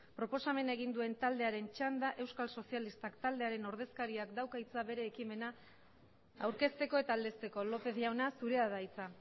proposamena egin duen taldearen txanda euskal sozialistak taldearen ordezkariak dauka hitza bere ekimena aurkezteko eta aldezteko lópez jauna zurea da hitza